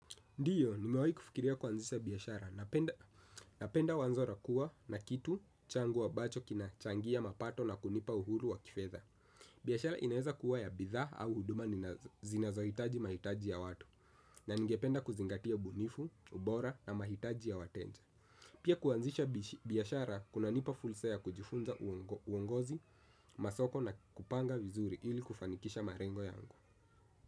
Ndio, nimewahi kufikiria kuanzisha biashara. Napenda wazo la kuwa na kitu changu ambacho kina changia mapato na kunipa uhuru wa kifedha. Biashara inaweza kuwa ya bidhaa au huduma zinazohitaji mahitaji ya watu, na ningependa kuzingatia ubunifu, ubora na mahitaji ya wateja. Pia kuanzisha biashara, kunanipa fursa ya kujifunza uongozi, masoko na kupanga vizuri ili kufanikisha malengo yangu.